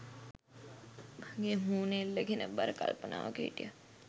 වගේ මූණ එල්ලගෙන බර කල්පනාවක හිටියා.